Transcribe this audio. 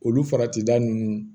Olu faratida ninnu